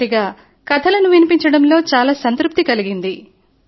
చివరగా కథలను వినిపించడంలో చాల సంతృప్తి కలిగింది